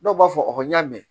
Dɔw b'a fɔ n y'a mɛn